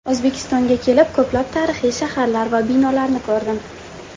O‘zbekistonga kelib, ko‘plab tarixiy shaharlar va binolarni ko‘rdim.